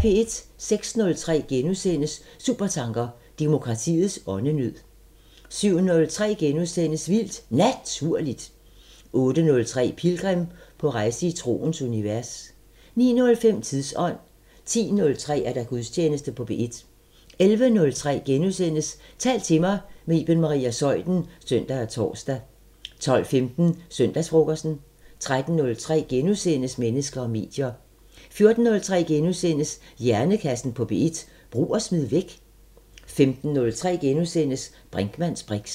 06:03: Supertanker: Demokratiets åndenød * 07:03: Vildt Naturligt * 08:03: Pilgrim – på rejse i troens univers 09:05: Tidsånd 10:03: Gudstjeneste på P1 11:03: Tal til mig – med Iben Maria Zeuthen *(søn og tor) 12:15: Søndagsfrokosten 13:03: Mennesker og medier * 14:03: Hjernekassen på P1: Brug og smid væk? * 15:03: Brinkmanns briks *